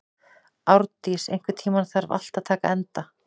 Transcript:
Árndís, einhvern tímann þarf allt að taka enda.